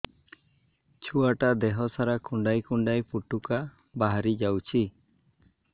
ଛୁଆ ଟା ଦେହ ସାରା କୁଣ୍ଡାଇ କୁଣ୍ଡାଇ ପୁଟୁକା ବାହାରି ଯାଉଛି